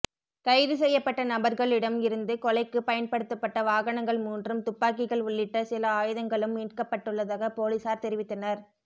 கைதுசெய்யப்பட்ட நபர்களிடம் இருந்து கொலைக்கு பயன்படுத்தப்பட்ட வாகனங்கள் மூன்றும் துப்பாக்கிகள் உள்ளிட்ட சில ஆயுதங்களும் மீட்கப்பட்டுள்ளதாகப் பொலிஸார் தெரிவித்தனர்